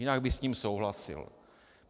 Jinak bych s ním souhlasil.